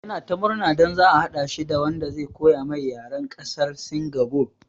Ya na ta murna don za a haɗa shi da wanda zai koya mai yaran ƙasan sin gobe